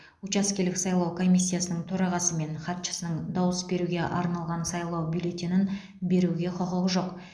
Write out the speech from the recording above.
учаскелік сайлау комиссиясының төрағасы мен хатшысының дауыс беруге арналған сайлау бюллетенін беруге құқығы жоқ